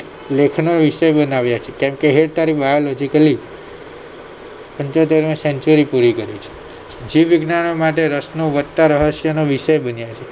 લેખનો વિષય બનાવ્યા છે કેમ કે biologically પંચોતેરમી century પુરી કરી જીવ વિજ્ઞાનીઓ માટે રસ નો વધતા રહસ્યનો વિષય બન્યો છે